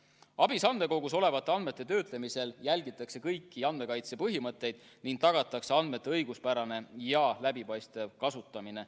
ABIS-e andmekogus olevate andmete töötlemisel jälgitakse kõiki andmekaitse põhimõtteid ning tagatakse andmete õiguspärane ja läbipaistev kasutamine.